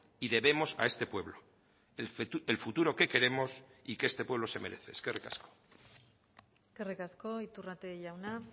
y debemos a este pueblo el futuro que queremos y que este pueblo se merece eskerrik asko eskerrik asko iturrate jauna